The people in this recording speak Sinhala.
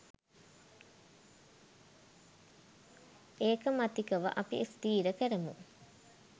ඒකමතිකව අපි ස්ථිර කරමු